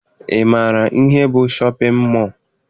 Ị maara ihe bụ shọpịn mọọ?